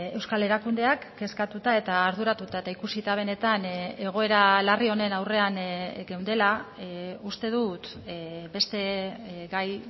euskal erakundeak kezkatuta eta arduratuta eta ikusita benetan egoera larri honen aurrean geundela uste dut beste gai